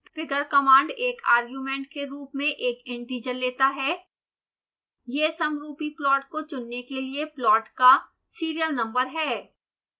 figure command एक argument के रूप में एक integer लेता है